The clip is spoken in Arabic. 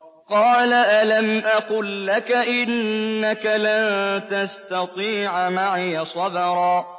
۞ قَالَ أَلَمْ أَقُل لَّكَ إِنَّكَ لَن تَسْتَطِيعَ مَعِيَ صَبْرًا